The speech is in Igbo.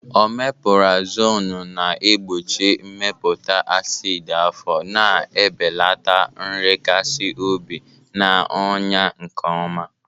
Omepurazonu na-egbochi mmepụta acid afọ, na-ebelata nrekasi obi, na ọnya, nke ọma.